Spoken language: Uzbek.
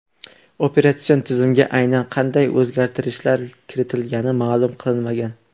Operatsion tizimga aynan qanday o‘zgarishlar kiritilgani ma’lum qilinmagan.